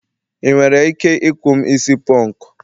ị nwere ike ikou'm isi punku?